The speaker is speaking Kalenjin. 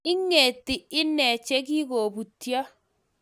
Ingeeti inne chegikobutyo